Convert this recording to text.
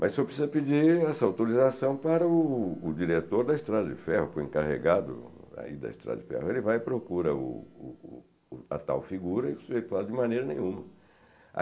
Mas o senhor precisa pedir essa autorização para o o diretor da Estrada de Ferro, para o encarregado aí da Estrada de Ferro, ele vai e procura o o o a tal figura e fala de maneira nenhuma.